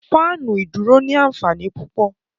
Fáànù ìdúró ní ànfàní púpọ